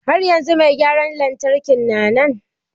Har yanzu mai gyaran lantarkin na nan?